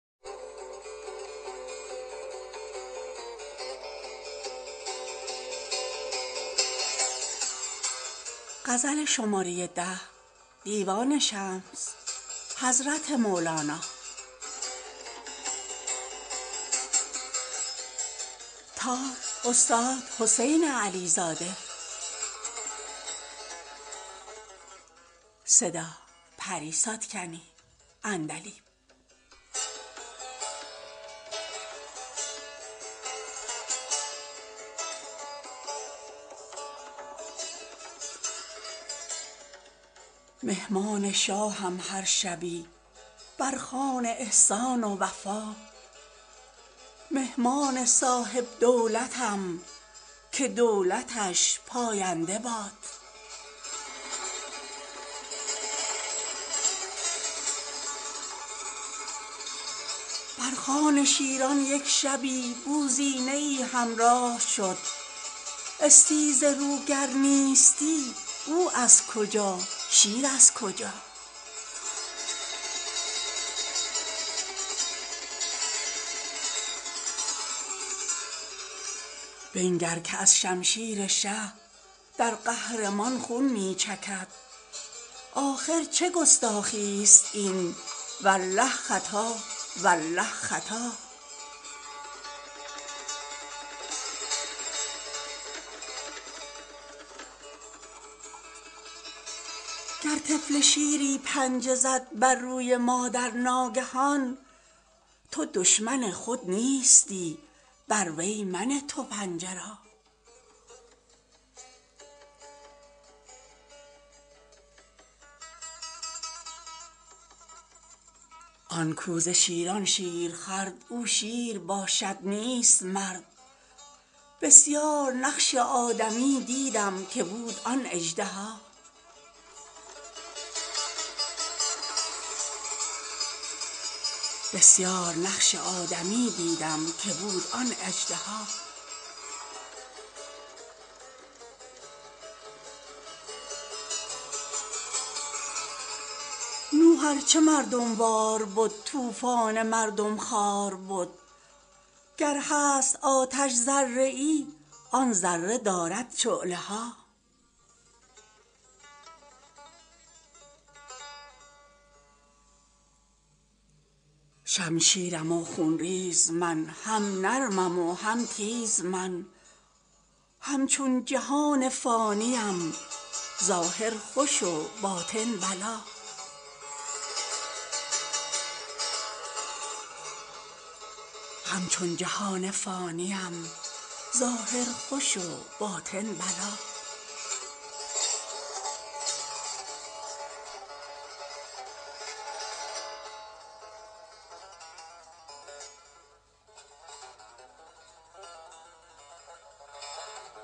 مهمان شاهم هر شبی بر خوان احسان و وفا مهمان صاحب دولتم که دولتش پاینده با بر خوان شیران یک شبی بوزینه ای همراه شد استیزه رو گر نیستی او از کجا شیر از کجا بنگر که از شمشیر شه در قهر مان خون می چکد آخر چه گستاخی است این والله خطا والله خطا گر طفل شیری پنجه زد بر روی مادر ناگهان تو دشمن خود نیستی بر وی منه تو پنجه را آن کاو ز شیران شیر خورد او شیر باشد نیست مرد بسیار نقش آدمی دیدم که بود آن اژدها نوح ار چه مردم وار بد طوفان مردم خوار بد گر هست آتش ذره ای آن ذره دارد شعله ها شمشیرم و خون ریز من هم نرمم و هم تیز من همچون جهان فانی ام ظاهر خوش و باطن بلا